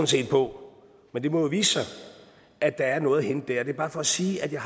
set på men det må jo vise sig at der er noget at hente det det er bare for at sige at jeg